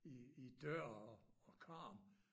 I dør og karm